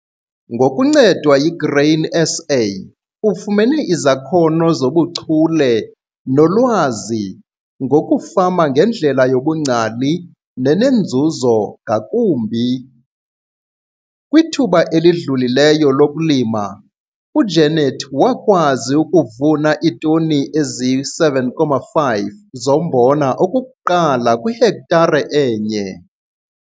Ngokuncedwa yiGrain SA ufumene izakhono zobuchule nolwazi ngokufama ngendlela yobungcali nenenzuzo ngakumbi. Kwithuba elidlulileyo lokulima, uJenet wakwazi ukuvuna iitoni ezisi-7,5 zombona okokuqala kwihektare e-1.